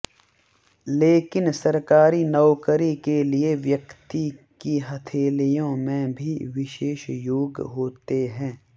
लेकिन सरकारी नौकरी के लिए व्यक्ति की हथेलियों में भी विशेष योग होते हैं